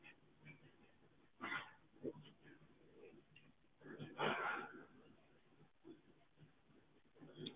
ਖੇਡ ਹੈ ਓਰ sir ਕਿ ਮਈ ਤੁਹਾਡਾ ਨਾਮ ਜਾਂ ਸਕਦਾ ਆ